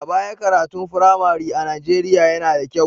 A baya, karatun firamare a Nijeriya yana da kyau.